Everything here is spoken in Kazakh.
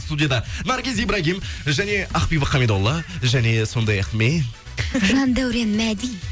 студияда наргиз ибрагим және ақбибі қамидолла және сондай ақ мен жандәурен мәди